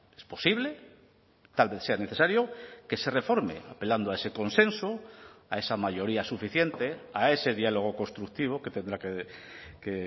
es posible tal vez sea necesario que se reforme apelando a ese consenso a esa mayoría suficiente a ese diálogo constructivo que tendrá que